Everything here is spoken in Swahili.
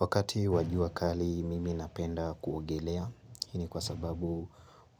Wakati wa jua kali, mimi napenda kuogelea. Hii kwa sababu,